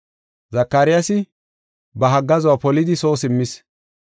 Zakaryaasi ba haggaazuwa polidi soo simmis.